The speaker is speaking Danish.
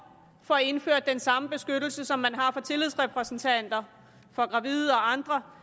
får indført den samme beskyttelse som man har for tillidsrepræsentanter for gravide og andre